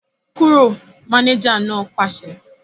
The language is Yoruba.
Kúrò! Mánéjà náà pàṣẹ